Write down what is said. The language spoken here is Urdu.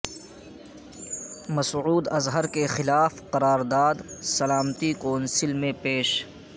مسعود اظہر کے خلاف قرارداد سلامتی کونسل میں پیش